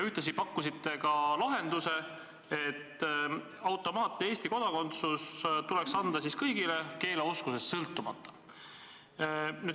Ühtlasi pakkusite lahenduse, et Eesti kodakondsus tuleks automaatselt anda kõigile riigikeele oskusest sõltumata.